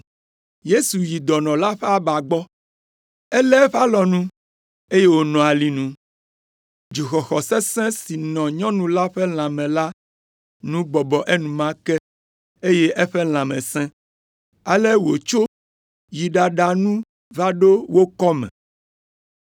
Yesu yi dɔnɔ la ƒe aba gbɔ, elé eƒe alɔnu, eye wònɔ alinu. Dzoxɔxɔ sesẽ si nɔ nyɔnu la ƒe lãme la nu bɔbɔ enumake eye eƒe lãme sẽ. Ale wòtso yi ɖaɖa nu va ɖo wo kɔme.